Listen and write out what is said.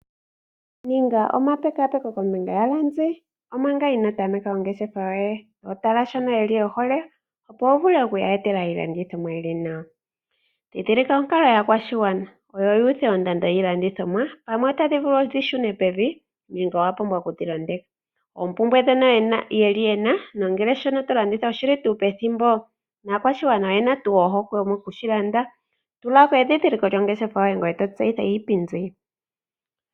Ninga omapekapeko kombinga yaalandi omanga ino tameka ongeshefa yoye. Tala shono y hole, opo wu vule okuya etela iilandithomwayili nawa . Dhindhilika onkalo yaakwashigwana oyo yuuthe ondando yiilandithomwa pamwe odha pumbwa okushuna pevi nenge okudhi londeka. Oompumbwe yaashoka yena nongele shono tolanditha oshi li tuu pethimbo naakwashigwana iyena tuu ohokwemokushilanda. Tulako edhindhiliko lyongeshefa yoye ngoye to tseyitha iipindi yoye.